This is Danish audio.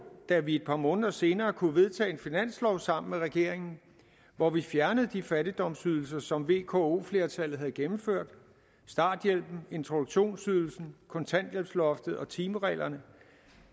da vi et par måneder senere kunne vedtage en finanslov sammen med regeringen hvor vi fjernede de fattigdomsydelser som vko flertallet havde gennemført starthjælpen introduktionsydelsen kontanthjælpsloftet og timereglerne